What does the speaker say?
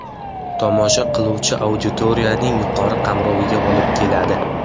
tomosha qiluvchi auditoriyaning yuqori qamroviga olib keladi.